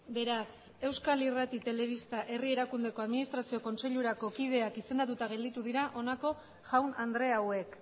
beraz euskal irrati telebista herri erakundeko administrazio kontseilurako kideak izendatuta gelditu dira honako jaun andre hauek